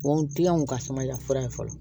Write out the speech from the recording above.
N kiliyanw ka samayanfura ye fɔlɔ